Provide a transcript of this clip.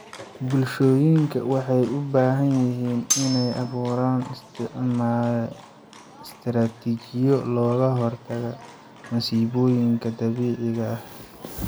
Bulshooyinka waxay u baahan yihiin inay abuuraan istiraatiijiyado looga hortago masiibooyinka dabiiciga ah.